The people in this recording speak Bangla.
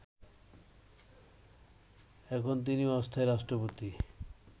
এখন তিনি অস্থায়ী রাষ্ট্রপতি